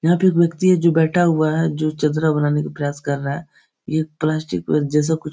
यहाँ पे एक व्यक्ति है जो बैठा हुआ है । जो चित्र बनाने का प्रयास कर रहा है । ये प्लास्टिक जैसा कुछ --